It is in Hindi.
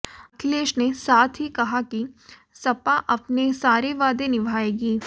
अखिलेश ने साथ ही कहा कि सपा अपने सारे वादे निभाएगी